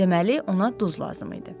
Deməli ona duz lazım idi.